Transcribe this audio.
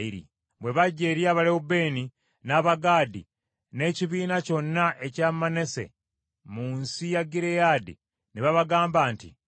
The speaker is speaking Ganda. Bwe bajja eri Abalewubeeni, n’Abagaadi, n’ekibiina kyonna ekya Manase mu nsi ya Gireyaadi ne babagamba nti,